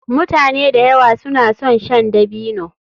Mutane da yawa suna son shan dabino.